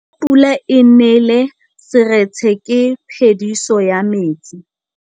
Fa pula e nelê serêtsê ke phêdisô ya metsi.